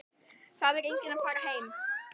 Það er enginn að fara héðan.